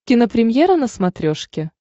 кинопремьера на смотрешке